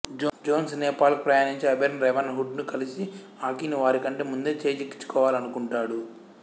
Jones నేపాల్కు ప్రయాణించి Abner Ravenwood ను కలిసి ఆకీని వారికంటే ముందే చేజిక్కించుకొవాలనుకుంటాడు